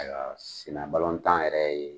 Ayiwa senna balɔntan yɛrɛ ye